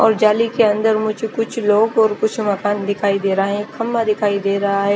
और जाली के अन्दर मुझे कुछ लोग और कुछ मकान दिखाई देरा है खम्बा दिखाई देरा है।